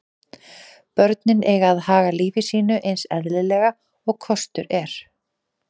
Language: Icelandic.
Börnin eiga að haga lífi sínu eins eðlilega og kostur er.